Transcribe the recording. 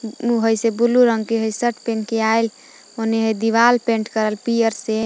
ऊ हइ से ब्लू रंग के सट पेन्ह के हइ आइल ओने हइ दीवार पेंट करल पियर से।